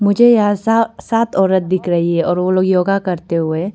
मुझे यहां सा सात औरत दिख रही है और वो लोग योगा करते हुए --